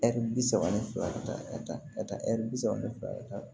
Ɛri bi saba ni fila ka taa ka taa ka taa ɛri bi saba ni fila ka taa